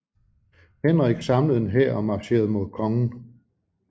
Henrik samlede en hær og marcherede mod kongen